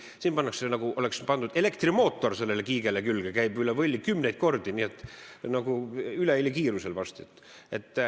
Siin oleks nagu pandud elektrimootor kiigele külge, see käib üle võlli kümneid kordi, ülehelikiirusel varsti.